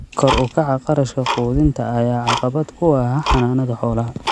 Kor u kaca kharashka quudinta ayaa caqabad ku ah xanaanada xoolaha.